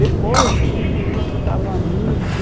Depois, eu vi que o Núcleo estava muito...